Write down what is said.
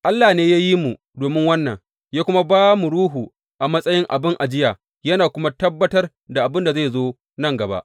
Allah ne ya yi mu domin wannan, ya kuma ba mu Ruhu a matsayin abin ajiya, yana kuma tabbatar da abin da zai zo nan gaba.